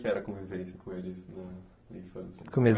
Que era a convivência com eles?